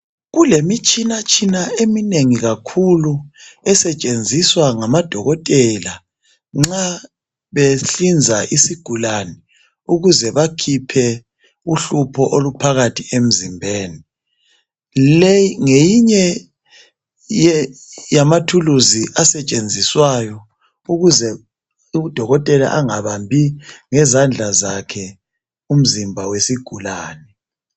Kulemitshina tshina eminengi kakhulu esetshenziswa ngama dokotela nxa behlinza isigulane ukuze bakhiphe uhlupho oluphakathi emzimbeni. Leyi ngeyinye yamathuluzi asetshenziswayo ukuze udokotela engabambi ngezandla zakhe umzimba wesigulane.